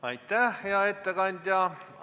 Aitäh, hea ettekandja!